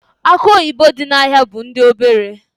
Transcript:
Akụ oyibo dị n'ahịa bụ ndị obere.